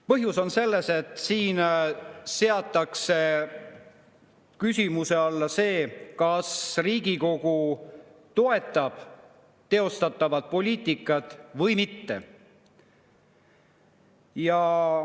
Põhjus on selles, et siin seatakse küsimuse alla see, kas Riigikogu toetab teostatavat poliitikat või mitte.